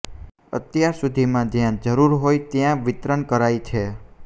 અત્યાર સુધીમાં જયા જરૃર હોય ત્યા વિતરણ કરાય છે